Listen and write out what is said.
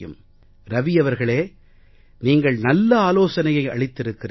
ரவி அவர்களே நீங்கள் நல்ல ஆலோசனையை அளித்திருக்கிறீர்கள்